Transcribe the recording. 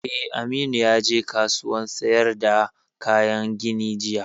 Eh, Aminu ya je kasuwan sayar da kayan gini jiya